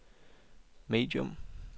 medium